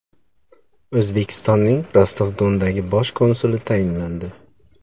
O‘zbekistonning Rostov-Dondagi Bosh konsuli tayinlandi.